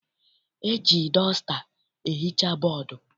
E ji dọsta ehicha bọdu.